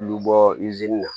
Olu bɔ na